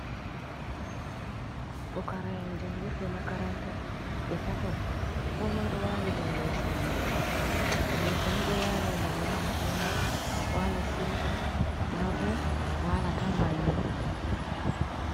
Pukara'en jangirde makaranta be tato ko moi ɗo wali dow loso muɗum, leso ni do wali ngam wala diina wala siuta ma bo wala tan bannin.